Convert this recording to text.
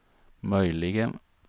möjligen